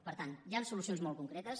per tant hi han solucions molt concretes